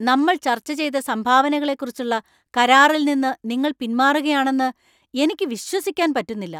നമ്മള്‍ ചർച്ച ചെയ്ത സംഭാവനകളെക്കുറിച്ചുള്ള കരാറിൽ നിന്ന് നിങ്ങൾ പിന്മാറുകയാണെന്ന് എനിക്ക് വിശ്വസിക്കാൻ പറ്റുന്നില്ല.